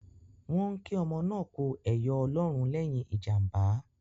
Wọ́n ń kí ọmọ náà kú ẹyọ Ọlọ́run lẹ́yìn ìjàmbá